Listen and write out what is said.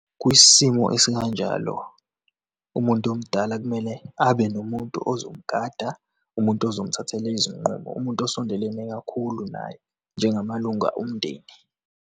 Kwisimo esikanjalo, umuntu omdala kumele abe nomuntu ozomgada, umuntu ozomthathela izinqumo, umuntu osondelene kakhulu naye, njengamalunga omndeni.